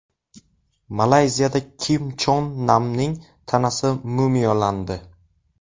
Malayziyada Kim Chon Namning tanasi mumiyolandi.